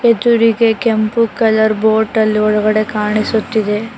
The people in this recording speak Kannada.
ಎದುರಿಗೆ ಕೆಂಪು ಕಲರ್ ಬೋಟ್ ಅಲ್ ಒಳಗಡೆ ಕಾಣಿಸುತ್ತಿದೆ.